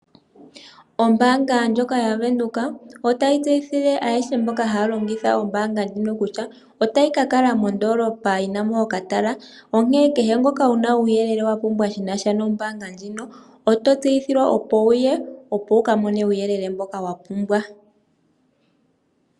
Ombaanga ndjoka yavenduka, otayi tseyithile ayehe mboka haya longitha ombaanga ndjino kutya, otayi kakala mondoolopa yinamo okatala, onkene kehe ngoka wuna uuyele wapumbwa shinasha nombaanga ndjino, oto tseyithilwa opo wuye, ngwee wukamone uuyelele mboka wapumbwa.